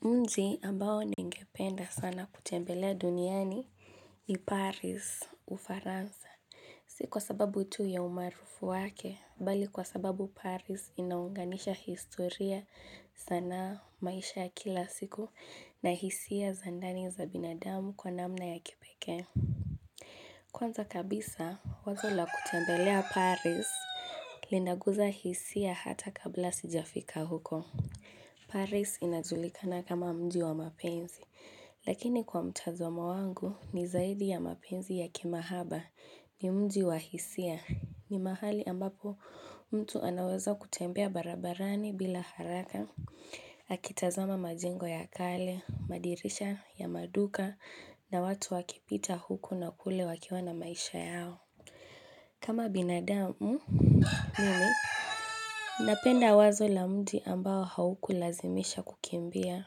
Mji ambao ningependa sana kutembelea duniani ni Paris u Faransa. Si kwa sababu tu ya umaarufu wake, bali kwa sababu Paris inaunganisha historia, sanaa, maisha ya kila siku na hisia za ndani za binadamu kwa namna ya kipekee. Kwanza kabisa, wazo la kutembelea Paris linaguza hisia hata kabla sijafika huko. Paris inajulikana kama mji wa mapenzi, lakini kwa mtazamo wangu ni zaidi ya mapenzi ya kimahaba, ni mji wa hisia. Ni mahali ambapo mtu anaweza kutembea barabarani bila haraka. Akitazama majengo ya kale, madirisha ya maduka na watu wakipita huku na kule wakiwa na maisha yao. Kama binadamu mimi, napenda wazo la mji ambao hauku lazimisha kukimbia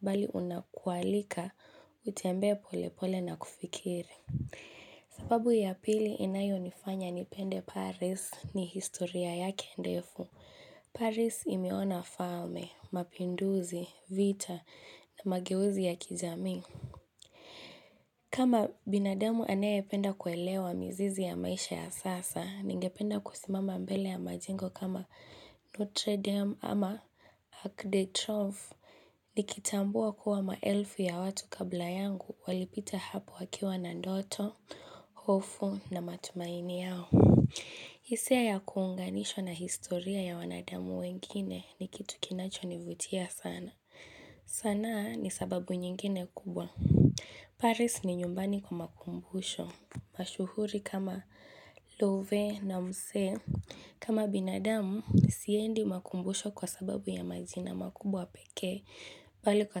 bali unakualika utembee polepole na kufikiri. Sababu ya pili inayo nifanya nipende Paris ni historia yake ndefu. Paris imeonaa falme, mapinduzi, vita na mageuzi ya kijamii. Kama binadamu anae penda kuelewa mizizi ya maisha ya sasa, ninge penda kusimama mbele ya majengo kama Notre Dame ama Arc de Trove, nikitambua kuwa maelfu ya watu kabla yangu walipita hapo wakiwa na ndoto, hofu na matumaini yao. Hisia ya kuunganishwa na historia ya wanadamu wengine ni kitu kinacho nivutia sana. Sanaa ni sababu nyingine kubwa. Paris ni nyumbani kwa makumbusho, mashuhuri kama love na mse, kama binadamu, siendi makumbusho kwa sababu ya majina makubwa pekee, bali kwa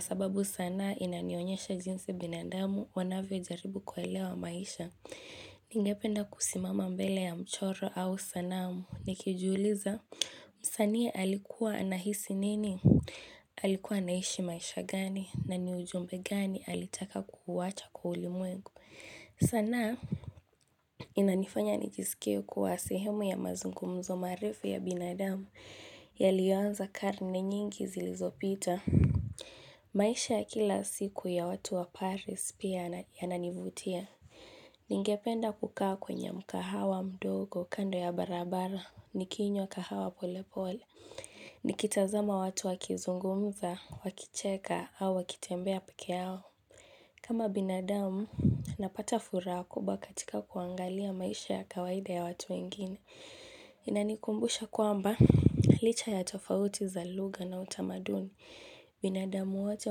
sababu sanaa inanionyesha jinsi binadamu wanavyo jaribu kuelewa maisha. Ningependa kusimama mbele ya mchoro au sanamu nikijiuliza msanii alikuwa anahisi nini, alikuwa anahishi maisha gani na ni ujumbe gani alitaka kuwacha kwa ulimwengu. Sanaa inanifanya nijisikie kuwa sehemu ya mazungumzo marefu ya binadamu yaliyoanza karne nyingi zilizopita. Maisha ya kila siku ya watu wa Paris pia yananivutia Ningependa kukaa kwenye mkahawa mdogo kando ya barabara nikinywa kahawa pole pole Nikitazama watu wakizungumza, wakicheka au wakitembea peke yao kama binadamu, napata furaha kubwa katika kuangalia maisha ya kawaida ya watu wengine Inanikumbusha kwamba licha ya tofauti za lugha na utamaduni binadamu wote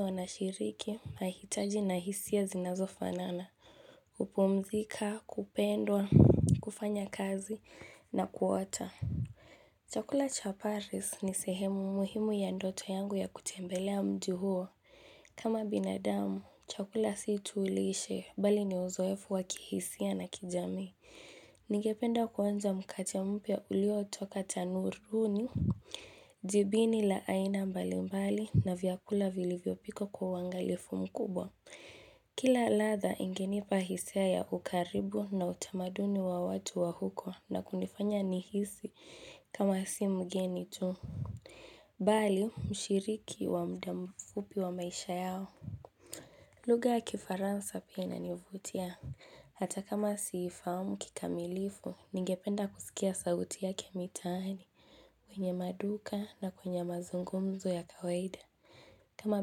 wanashiriki, mahitaji na hisia zinazo fanana kupumzika, kupendwa, kufanya kazi na kuota Chakula cha Paris ni sehemu muhimu ya ndoto yangu ya kutembelea mji huo. Kama binadamu, chakula si tu lishe, bali ni uzoefu wa kihisia na kijamii Ningependa kuanza mkate mpya uliotoka tanuruni Jibini la aina mbalimbali na vyakula vilivyo pikwa kwa uangalifu mkubwa Kila ladha ingenipa hisia ya ukaribu na utamaduni wa watu wa huko na kunifanya nihisi kama si mgeni tu Bali mshiriki wa muda mfupi wa maisha yao lugha ya Kifaransa pia inanivutia Hata kama siifahamu kikamilifu ningependa kusikia sauti yake mitaani. Kwenye maduka na kwenye mazungumzo ya kawaida kama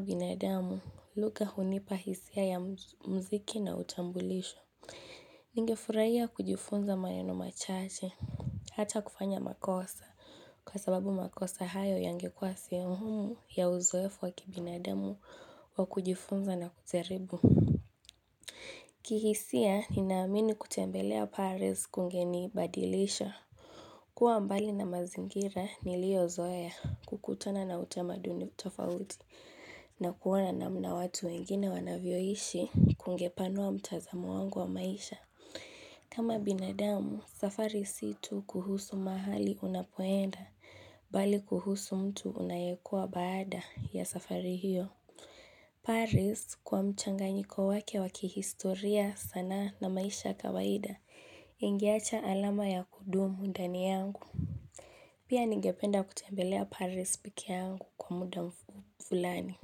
binadamu, lugha hunipa hisia ya muziki na utambulisho Ningefurahia kujifunza maneno machache, hata kufanya makosa, kwa sababu makosa hayo yangekuwa sehemu muhimu ya uzoefu wa kibinadamu wa kujifunza na kujaribu. Kihisia, ninaamini kutembelea paris kungenibadilisha. Kuwa mbali na mazingira niliyozoea, kukutana na utamaduni tofauti na kuona namna watu wengine wanavyoishi kungepanua mtazamo wangu wa maisha. Kama binadamu, safari si tu kuhusu mahali unapoenda, bali kuhusu mtu unayekuwa baada ya safari hiyo. Paris, kwa mchanganyiko wake wa kihistoria sanaa na maisha ya kawaida ingeacha alama ya kudumu ndani yangu. Pia ningependa kutembelea Paris pekeyangu kwa muda fulani.